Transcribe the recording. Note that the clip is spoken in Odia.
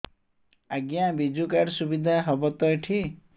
ଆଜ୍ଞା ବିଜୁ କାର୍ଡ ସୁବିଧା ହବ ତ ଏଠି